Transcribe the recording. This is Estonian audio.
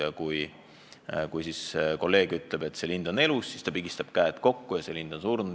Ja kui teine tark ütleb, et lind on elus, siis ta pigistab peo kokku ja lind on surnud.